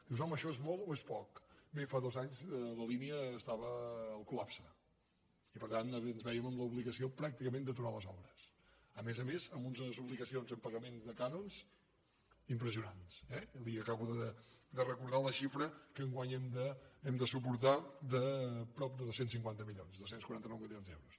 dius home això és molt o és poc bé fa dos anys la línia estava al col·lapse i per tant ens vèiem en l’obligació pràcticament d’aturar les obres a més a més amb unes obligacions en pagaments de cànons impressionants eh li acabo de recordar la xifra que enguany hem de suportar de prop de dos cents i cinquanta milions dos cents i quaranta nou milions d’euros